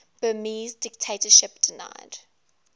burmese dictatorship denied